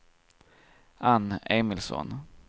Ann Emilsson